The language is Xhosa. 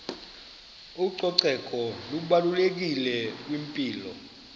ucoceko lubalulekile kwimpilo